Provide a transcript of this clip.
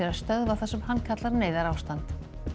stöðva það sem hann kallar neyðarástand